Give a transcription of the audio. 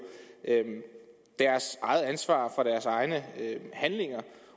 deres eget ansvar for deres egne handlinger